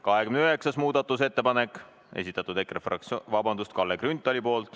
29. muudatusettepaneku on esitanud Kalle Grünthal.